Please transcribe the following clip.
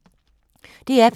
DR P2